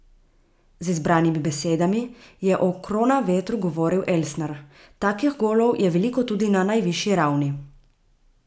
Z izbranimi besedami je o Kronavetru govoril Elsner: "Takih golov je veliko tudi na najvišji ravni.